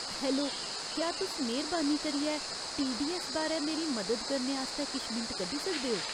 Hello, क्या तुस मेह्‌रबानी करियै टीडीऐस्स बारै मेरी मदद करने आस्तै किश मिंट कड्ढी सकदे ओ ?